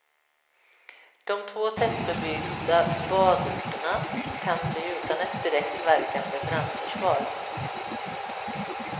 De två tättbebyggda badorterna kan bli utan ett direkt verkande brandförsvar.